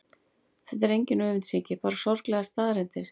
Þetta er engin öfundsýki, bara sorglegar staðreyndir.